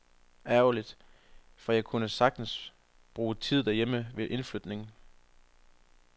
Ærgerligt, for jeg kunne sagtens bruge tiden derhjemme ved indflytningen.